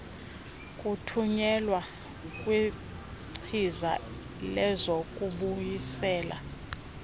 kuthunyelwa kwingcisa lezokubuyisela